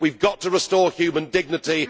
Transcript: We have got to restore human dignity.